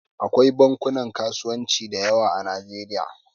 Akwai bankunan kasuwanci da yawa a Najeriya.